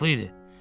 Haqqlı idi.